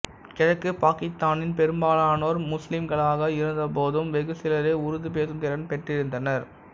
கிழக்குப் பாக்கித்தானின் பெரும்பாலானோர் முசுலிம்களாக இருந்த போதும் வெகு சிலரே உருது பேசும் திறன் பெற்றிருந்தனர்